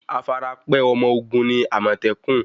Afarapẹ́ ọmọ ogun ni àmọ̀tẹ́kùn.